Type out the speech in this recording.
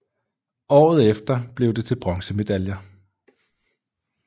Året efter blev det til bronzemedaljer